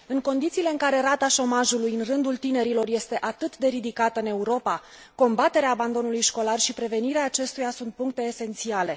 În condițiile în care rata șomajului în rândul tinerilor este atât de ridicată în Europa, combaterea abandonului școlar și prevenirea acestuia sunt puncte esențiale.